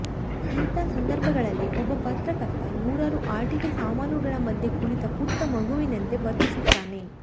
ಇಂಥ ಸಂದರ್ಭಗಳಲ್ಲಿ ಒಬ್ಬ ಪತ್ರಕರ್ತ ನೂರಾರು ಆಟಿಕೆ ಸಾಮಾನುಗಳ ಮಧ್ಯೆ ಕುಳಿತ ಪುಟ್ಟ ಮಗುವಿನಂತೆ ವರ್ತಿಸುತ್ತಾನೆ